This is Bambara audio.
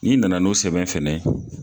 N'i nana n'o sɛbɛn fɛnɛ ye